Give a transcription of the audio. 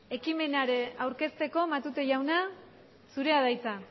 ekimena aurkezteko matute jauna zurea da hitza